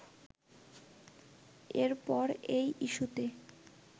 এরপর এই ইস্যূতে